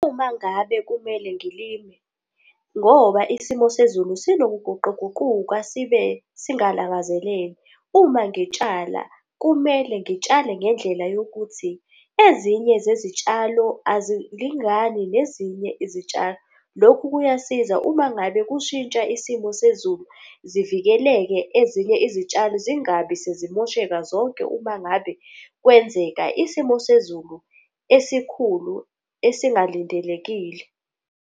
Uma ngabe kumele ngilime ngoba isimo sezulu sinokuguquguquka sibe singalangazeleli, uma ngitshala kumele ngitshale ngendlela yokuthi ezinye zezitshalo azilingani nezinye izitshalo. Lokhu kuyasiza uma ngabe kushintsha isimo sezulu zivikeleke ezinye izitshalo zingabi sezimosheka zonke uma ngabe kwenzeka isimo sezulu esikhulu esingalindelekile.